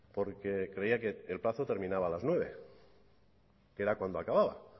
porque creía que el plazo terminaba a las nueve cero que era cuando acababa